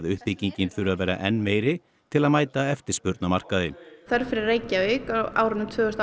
uppbyggingin þurfi að vera enn meiri til að mæta eftirspurn á markaði þörf fyrir Reykjavík á árunum tvö þúsund